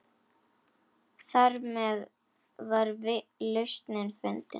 Þarmeð var lausnin fundin.